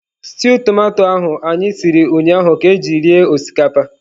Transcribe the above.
Stew tomato ahụ anyị siri ụnyahụ ka e ji rie osikapa.